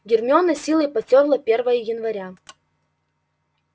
гермиона с силой потёрла первое января